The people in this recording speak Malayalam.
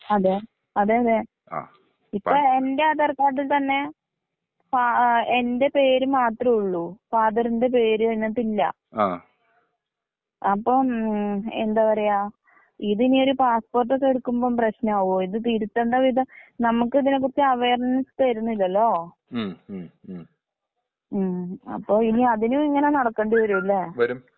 അതെ അതെ അതെ. ഇപ്പൊ എന്റെ ആധാർ കാർഡിൽ തന്നെ പാ ആ എന്റെ പേര് മാത്രേഉള്ളൂ ഫാദറിന്റെ പേര് അതിനകത്തില്ല.അപ്പം ഉം എന്താ പറയാ ഇതിനിയൊരു പാസ്പൊർട്ടൊക്കെ എടുക്കുമ്പോ പ്രശ്നാവോ? ഇത് തിരുത്തണ്ട വിധം നമുക്ക് ഇതിനെ കുറിച്ച് അവയേർനസ് തരുന്നില്ലല്ലൊ? ഉം അപ്പൊ അതിനും ഇങ്ങനെ നടക്കേണ്ടി വരും ല്ലെ?